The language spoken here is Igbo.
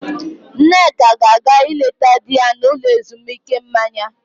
Nneka ga-aga ịleta di ya n'ụlọ ezumuike mmanya.